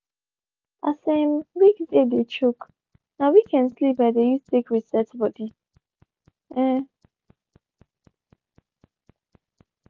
as um weekday dey choke na weekend sleep i dey use take reset body. um